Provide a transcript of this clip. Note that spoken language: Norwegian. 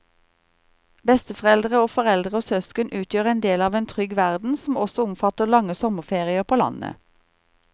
Besteforeldre og foreldre og søsken utgjør en del av en trygg verden som også omfatter lange sommerferier på landet.